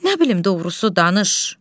Nə bilim doğrusu danış.